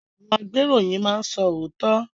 Àwọn agbeiroyin máa n so ootọ.